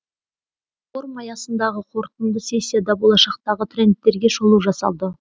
форум аясындағы қорытынды сессияда болашақтағы трендтерге шолу жасалды